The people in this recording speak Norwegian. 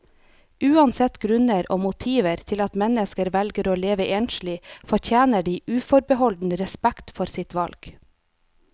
Uansett grunner og motiver til at mennesker velger å leve enslig, fortjener de uforbeholden respekt for sitt valg.